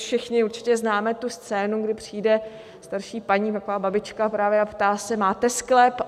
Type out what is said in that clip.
Všichni určitě známe tu scénu, kdy přijde starší paní, taková babička právě, a ptá se: Máte sklep?